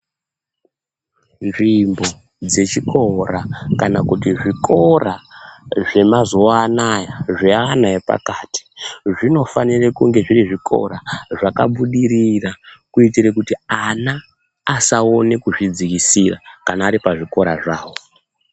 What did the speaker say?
Nzvimbo dzechikora kana kuti zvikora zvemazuwanaya zveana epakati zvinofanire kunge zviri zvikora zvakabudirira kuitire kuti ana asaone kuzvidzikisira kana aripazvikora zvawo.